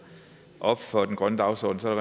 op for den grønne dagsorden er